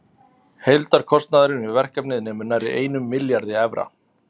Heildarkostnaður við verkefnið nemur nærri einum milljarði evra.